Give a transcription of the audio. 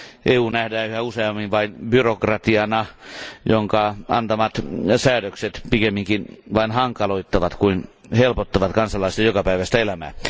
EU nähdään yhä useammin vain byrokratiana, jonka antamat säädökset pikemminkin vain hankaloittavat kuin helpottavat kansalaisten jokapäiväistä elämää.